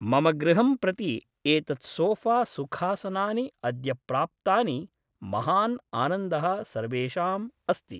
मम गृहं प्रति एतत् सोफ़ा सुखासनानि अद्य प्राप्तानि महान् आनन्दः सर्वेषाम् अस्ति